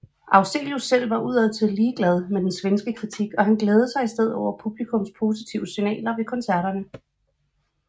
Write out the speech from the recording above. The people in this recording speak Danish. Afzelius selv var udadtil ligeglad med den svenske kritik og glædede sig i stedet over publikums positive signaler ved koncerterne